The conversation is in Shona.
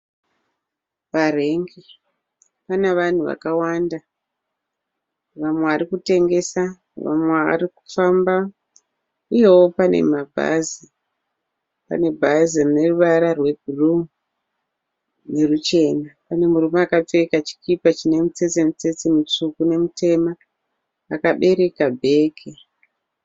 Parengi pana vanhu vakawanda vamwe varikutengesa vamwe varikufamba uyeo pane mabhazi. Pane bhazi rine ruwara rwe bhuruu neruchena. Pane murume akapfeka chikipa chine mitsetse mitsetse mitsvuku nemitema akabereka bhegi.